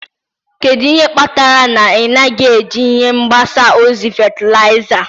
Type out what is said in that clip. Kedu ihe kpatara na ị naghị eji ihe mgbasa ozi fatịlaịza?